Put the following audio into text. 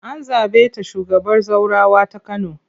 An zaɓe ta shugabar zaurawa ta Kano.